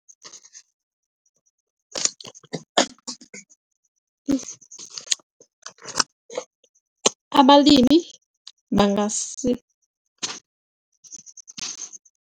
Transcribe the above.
Abalimi